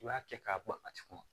I b'a kɛ k'a bɔ a tigi kɔnɔ